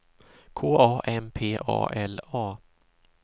K A M P A L A